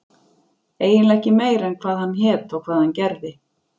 eiginlega ekki meira en hvað hann hét og hvað hann gerði.